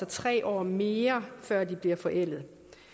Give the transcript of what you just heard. tre år mere før de bliver forældet